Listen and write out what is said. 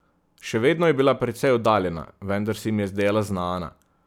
Še vedno je bila precej oddaljena, vendar se mi je zdela znana.